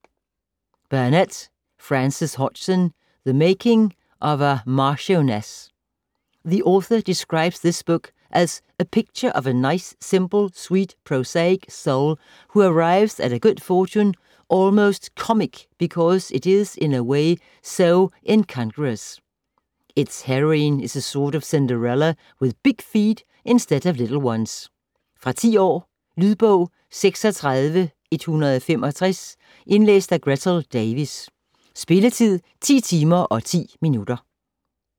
Burnett, Frances Hodgson: The making of a Marchioness The author describes this book as 'a picture of a nice simple, sweet prosaic soul who arrives at a good fortune almost comic because it is in a way so incongruous. Its heroine is a sort of Cinderella with big feet instead of little ones'. Fra 10 år. Lydbog 36165 Indlæst af Gretel Davis. Spilletid: 10 timer, 10 minutter.